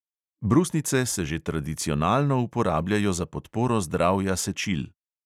Brusnice se že tradicionalno uporabljajo za podporo zdravja sečil.